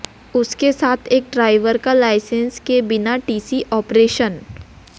उसके साथ एक ड्राइवर का लाइसेंस के बिना टीसी ऑपरेशन